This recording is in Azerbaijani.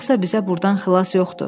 Yoxsa bizə burdan xilas yoxdur.